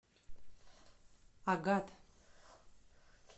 агат